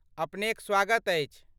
अपनेक स्वागत अछि।